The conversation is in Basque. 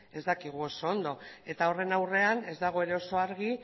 ez dakigu oso ondo eta horren aurrean ez dago ere oso argi